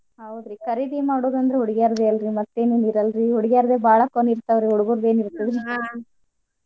ಹೌದ್ರಿ ಖರೀದಿ ಮಾಡೋದ್ ಅಂದ್ರ ಹುಡ್ಗ್ಯಾರ್ದ್ ಅಲ್ರೀ ಮತ್ತೇನ್ ಹಂಗ್ ಇರಲ್ ರೀ ಹುಡ್ಗ್ಯಾರ್ದ್ಬ ಬಾಳ fun ಇರ್ತಾವ್ ರ್ರೀ ಹುಡ್ಗುರದ್ ಏನ್ ಇರ್ತದ್ ರ್ರೀ .